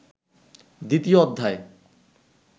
দ্বিতীয় অধ্যায়